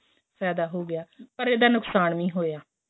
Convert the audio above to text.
ਫੈਦਾ ਹੋ ਗਿਆ ਪਰ ਇਹਦਾ ਨੁਕਸ਼ਾਨ ਵੀ ਹੋਇਆ